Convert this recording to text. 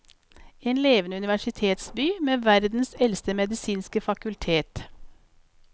En levende universitetsby med verdens eldste medisinske fakultet.